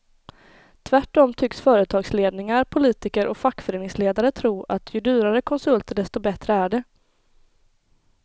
Tvärtom tycks företagsledningar, politiker och fackföreningsledare tro att ju dyrare konsulter desto bättre är det.